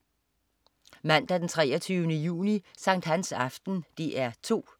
Mandag den 23. juni. Sankthansaften - DR 2: